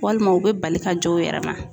Walima u bɛ bali ka jɔ u yɛrɛ ma.